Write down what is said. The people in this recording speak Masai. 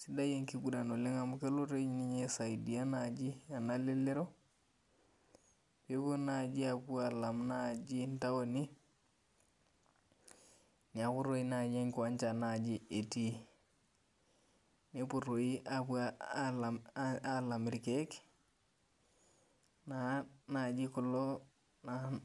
sidai enkiguran oleng amu kelo toi ninye aisaidia naji ena lelero, pepuo naji apuo alam naji intaoni, neeku toi nai enkiwanja naji etii. Nepuo toi apuo alam irkeek, naa naji kulo